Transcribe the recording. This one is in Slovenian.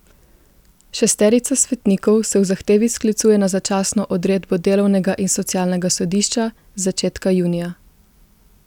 Šesterica svetnikov se v zahtevi sklicuje na začasno odredbo delovnega in socialnega sodišča z začetka junija.